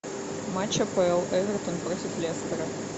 матч апл эвертон против лестера